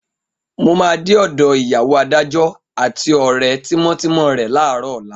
Mo máa dé ọ̀dọ ìyàwó adájọ́ àti ọ̀rẹ́ tímọ́tímọ́ rẹ láàárọ̀ ọ̀la.